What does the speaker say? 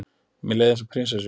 Mér leið eins og prinsessu.